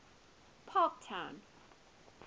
parktown